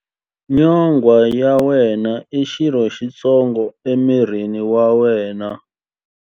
Nyonghwa ya wena i xirho xitsongo emirini wa wena.